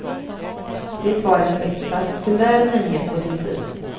Det var en spektakulär nyhet på sin tid.